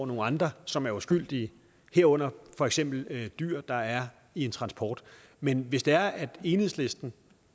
nogle andre som er uskyldige herunder for eksempel dyr der er i en transport men hvis det er at enhedslisten